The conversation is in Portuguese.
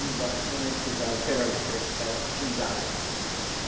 Embaixo, quando a gente pisava, o tirava o pé ficava cheio d'água.